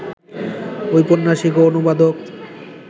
ঔপন্যাসিক ও অনুবাদক